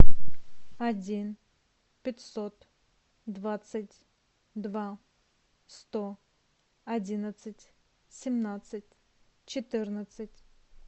один пятьсот двадцать два сто одиннадцать семнадцать четырнадцать